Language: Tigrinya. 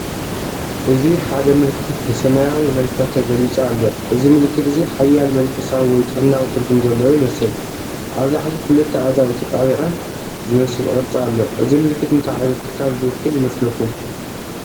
እዚ ሓደ ምልክት ብሰማያዊ መልክዕ ተገሊጹ ኣሎ። እዚ ምልክት እዚ ሓያል መንፈሳዊ ወይ ጥዕናዊ ትርጉም ዘለዎ ይመስል። ኣብ ላዕሊ ክልተ ኣእዳው ተጣቢቐን ዝመስል ቅርጺ ኣሎ። እዚ ምልክት እንታይ ዓይነት ትካል ዝውክል ይመስለኩም?